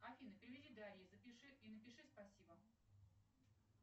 афина переведи дарье запиши и напиши спасибо